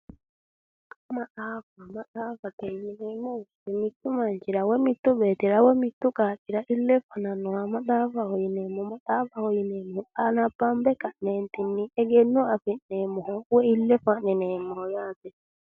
Maxaafa, maxaafate yineemmo woyte mitu manchira woyi mitu beettira ,mitu qaaqqira ile fananoha maxaafaho yineemmo .anabbabe ka'netinni egenno afi'neemmoha woyi ile fa'nineemmoho yaate.